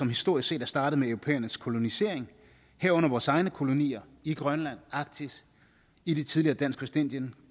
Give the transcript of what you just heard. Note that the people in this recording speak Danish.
historisk set er startet med europæernes kolonisering herunder vores egne kolonier i grønland arktis i det tidligere dansk vestindien